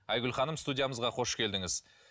айгүл ханым студиямызға қош келдіңіз